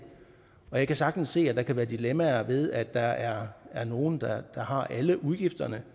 og jeg kan sagtens se at der kan være dilemmaer ved at der er er nogle der har alle udgifterne